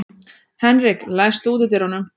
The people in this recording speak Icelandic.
Henrik, læstu útidyrunum.